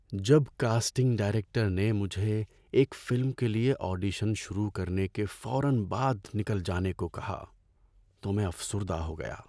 ‏جب casting director نے مجھے ایک فلم کے لئے آڈیشن شروع کرنے کے فورا بعد نکل جانے کو کہا تو میں افسردہ ہو گیا۔